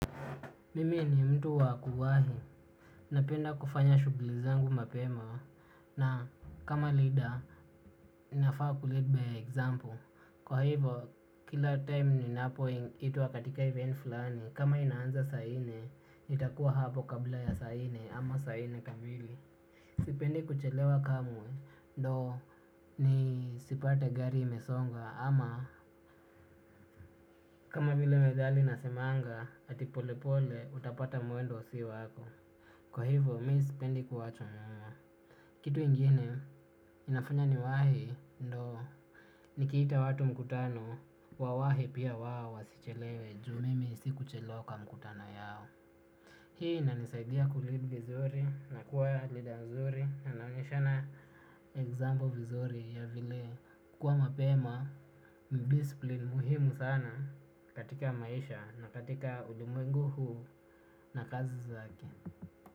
Mimi ni mtu wa kuwahi, napenda kufanya shughuli zangu mapema na kama leader nafaa kulead by example, kwa hivo kila time ninapoitwa katika event fulani, kama inaanza saa nne, nitakuwa hapo kabla ya saa nne ama saa nne kamili. Sipendi kuchelewa kamwe, ndo nisipate gari imesonga ama kama vile methali nasemanga, ati polepole utapata mwendo si wako. Kwa hivyo, mi sipendi kuachwa nyuma. Kitu nyingine, inafanya niwahi, ndo. Nikiita watu mkutano, wawahi pia wao wasichelewe, juu mimi si kuchelew kwa mkutano yao. Hii, inanisaidia kulead vizuri, na kuwa learer nzuri, na naonyeshana example vizuri ya vile kuwa mapema, ni displine muhimu sana katika maisha na katika ulimwengu huu na kazi zake.